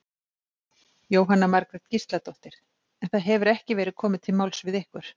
Jóhanna Margrét Gísladóttir: En það hefur ekki verið komið til máls við ykkur?